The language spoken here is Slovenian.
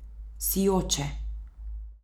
Sijoče ...